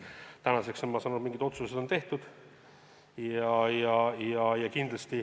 Tänaseks, ma saan aru, on mingid otsused tehtud.